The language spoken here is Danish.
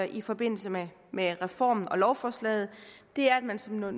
i forbindelse med med reformen og lovforslaget er at man som noget